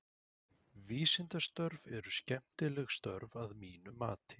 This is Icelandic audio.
Vísindastörf eru skemmtileg störf að mínu mati.